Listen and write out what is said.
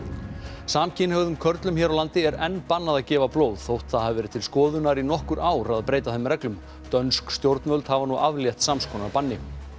samkynhneigðum körlum hér á landi er enn bannað að gefa blóð þótt það hafi verið til skoðunar í nokkur ár í að breyta þeim reglum dönsk stjórnvöld hafa nú aflétt sams konar banni